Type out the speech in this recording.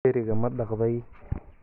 Dheriga ma dhaqday?